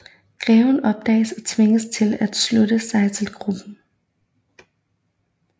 Greven opdages og tvinges til at slutte sig til gruppen